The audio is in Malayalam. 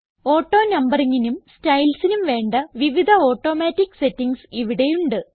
AutoNumberingനും Stylesനും വേണ്ട വിവിധ ഓട്ടോമാറ്റിക് സെറ്റിംഗ്സ് ഇവിടെ ഉണ്ട്